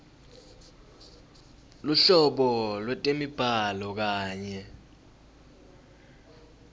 luhlobo lwetemibhalo kanye